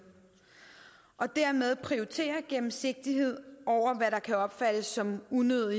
og dermed prioriterer vi gennemsigtighed over hvad der kan opfattes som unødig